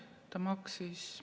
Ta maksis ...